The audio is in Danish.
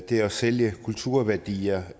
det at sælge kulturværdier